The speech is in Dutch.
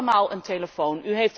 U heeft allemaal een telefoon.